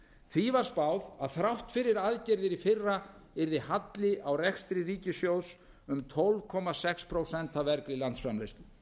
því var spáð að þrátt fyrir aðgerðir í fyrra yrði halli á rekstri ríkissjóðs um tólf komma sex prósent af vergri landsframleiðslu